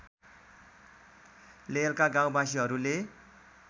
लेहलका गाउँवासीहरूले